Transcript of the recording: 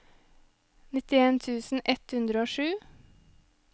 nittien tusen ett hundre og sju